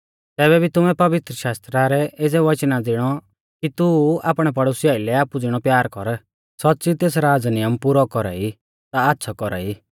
तैबै भी तुमै पवित्रशास्त्रा रै एज़ै वचना ज़िणौ कि तू आपणै पड़ोसी आइलै आपु ज़िणौ प्यार कर सौच़्च़ी तेस राज़ नियम पुरौ कौरा ई ता आच़्छ़ौ कौरा ई